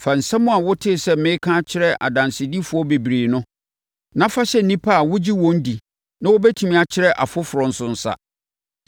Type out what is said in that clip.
Fa nsɛm a wotee sɛ mereka akyerɛ adansedifoɔ bebree no, na fa hyɛ nnipa a wogye wɔn di na wɔbɛtumi akyerɛ afoforɔ nso nsa.